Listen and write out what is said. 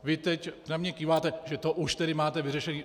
Vy teď na mě kýváte, že to už tedy máte vyřešené.